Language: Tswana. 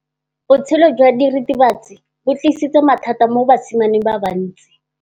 Botshelo jwa diritibatsi ke bo tlisitse mathata mo basimaneng ba bantsi.